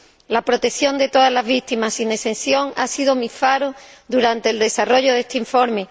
La protección de todas las víctimas, sin excepción, ha sido mi faro durante el desarrollo de este informe.